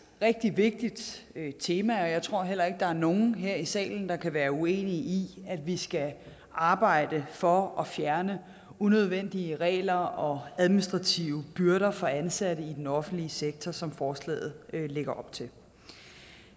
rigtig vigtigt tema jeg tror heller ikke der er nogen her i salen der kan være uenig i at vi skal arbejde for at fjerne unødvendige regler og administrative byrder for ansatte i den offentlige sektor som forslaget lægger op til